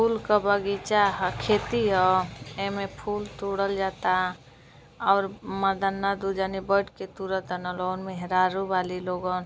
फूल क बगीचा ह खेती ह। एमे फूल तुड़ल जाता और मर्दाना दु जानी बइठ के तुड़त तन लोग। मेहरारू बालीलोगन।